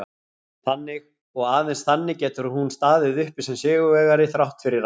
Þannig, og aðeins þannig, getur hún staðið uppi sem sigurvegari þrátt fyrir allt.